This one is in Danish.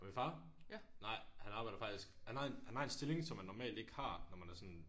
Min far? Nej han arbejder faktisk han har en han har en stilling som man normalt ikke har når man er sådan